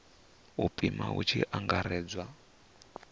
u pima hu tshi angaredzwa